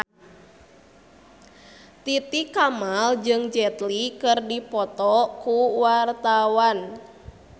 Titi Kamal jeung Jet Li keur dipoto ku wartawan